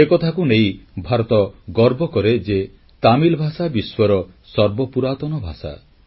ଏକଥାକୁ ନେଇ ଭାରତ ଗର୍ବ କରେ ଯେ ତାମିଲ ଭାଷା ବିଶ୍ୱର ସର୍ବପୁରାତନ ଭାଷା